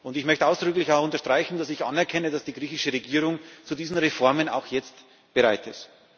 Ich möchte ausdrücklich unterstreichen, dass ich anerkenne, dass die griechische Regierung zu diesen Reformen jetzt auch bereit ist.